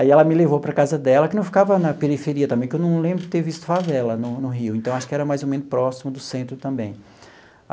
Aí ela me levou para a casa dela, que não ficava na periferia também, que eu não lembro de ter visto favela no no Rio, então acho que era mais ou menos próximo do centro também.